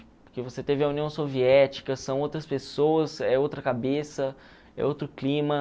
Porque você teve a União Soviética, são outras pessoas, é outra cabeça, é outro clima.